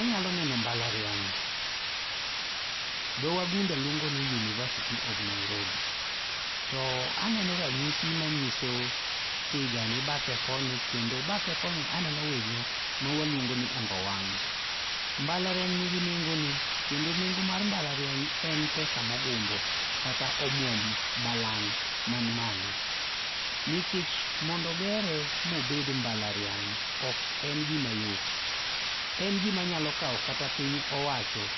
Anyalo neno mbalariany, dho wagunda luongo ni University of Nairobi, to aneno ranyisi manyiso tiga ni bathe koni kendo bathe koni aneo winyo ma waluongo ni ongowang'. Mbalariany nigi nengo ne kendo nengo mar mbalariany en pesa mogundho kata omuom, balang' man malo nmikech mond ogere mobed mbalariany ok en gima yot. En gima nyalo kawo kata piny owacho